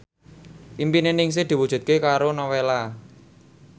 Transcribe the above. impine Ningsih diwujudke karo Nowela